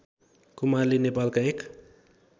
कुमारले नेपालका एक